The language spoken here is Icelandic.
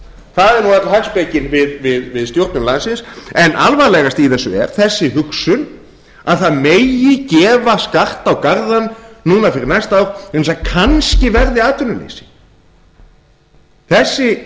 það er nú öll hagspekin við stjórnun landsins en alvarlegast í þessu er þessi hugsun að það megi gefa skart á garðann núna fyrir næsta ár vegna þess að kannski verði atvinnuleysi þessi